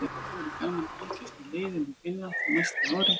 Það verður gaman að fylgjast með liðinu í Finnlandi á næsta ári.